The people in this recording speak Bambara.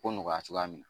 Ko nɔgɔya cogoya min na